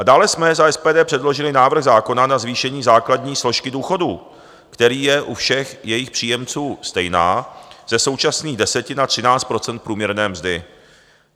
A dále jsme za SPD předložili návrh zákona na zvýšení základní složky důchodů, která je u všech jejich příjemců stejná, ze současných 10 na 13 % průměrné mzdy.